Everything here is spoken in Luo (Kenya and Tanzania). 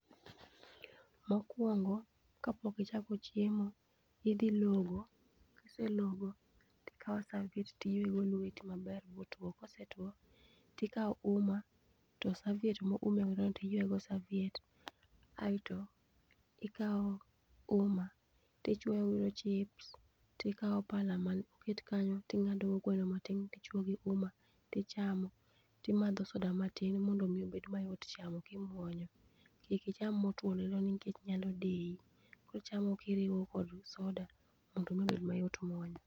mokuong'o kapok ichako chiemo ,idhi logo, kiselogo tikawo saviet ti yiego lueti maber botuo, kosetuo kawo uma to saviet mo ume godo no iyueye go saviet aeto ikawo umma tichuyo godo chips tikawo pala moket kanyo tingado go gweno matin tichuo gi umma tichamo timadho soda matin mondo omi obed mayot chamo kimuonyo, kik icham motuo lilo nikech nyalo dei, kichamo kirowo kod soda mondo mi obed mayot muonyo.